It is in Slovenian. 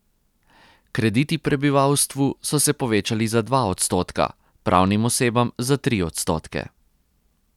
Krediti prebivalstvu so se povečali za dva odstotka, pravnim osebam za tri odstotke.